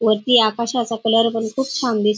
वरती आकाशाचा कलर पण खूप छान दिस --